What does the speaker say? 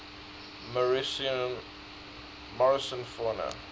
morrison fauna